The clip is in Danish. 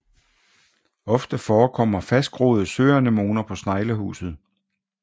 Ofte forekommer fastgroede søanemoner på sneglehuset